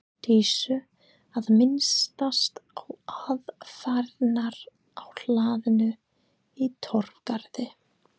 Dísu að minnast á aðfarirnar á hlaðinu í Torfgarði.